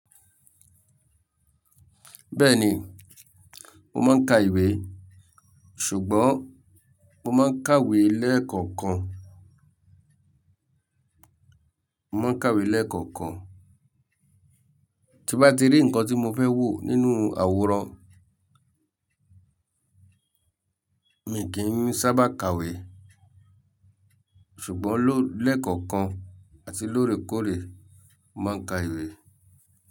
Bẹ́ẹ̀ni, mo máa ń ka ìwé. Ṣùgbọ́n mo máa ń kàwé lẹ́ẹ̀kankan, mo máa ń kàwé lẹ́ẹ̀kọ̀kan. Tí bá ti rí nǹkan tí mo fẹ́ wò nínú àwòrán, mi kì í sábà kàwé. Ṣùgbọ́n lẹ́ẹ̀kankan àti lóòrèkóòrè, mo máa ń ka ìwé.